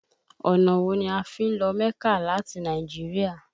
Ọ̀nà wo ni a fi ń lọ mẹ́kà láti Nàìjíríà?